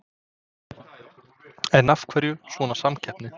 En af hverju svona samkeppni?